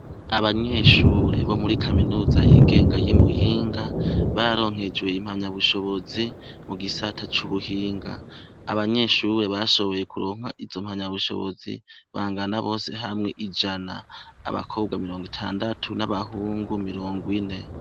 Abanyeshure bo muri kaminuza yigenga y’Imuyinga bararonkejwe impamyabushobozi mu gisata c’ubuhinga. Abanyeshure bashoboye kuronka izo mpamyabushobozi bangana bose hamwe ijana: abakobwa mirongo itandatu n’abahungu mirongo ine.